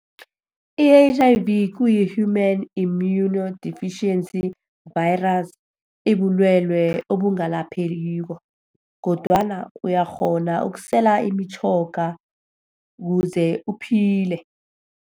I-H_I_V kuyi-human immunodeficiency virus. Ibulwelwe obungalaphekiko. Kodwana uyakghona ukusela imitjhoga kuze uphile.